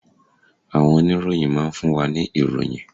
Àwọn oníròyìn máa ń fún wa ní ìròyìn.